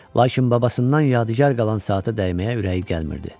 Lakin babasından yadigar qalan saata dəyməyə ürəyi gəlmirdi.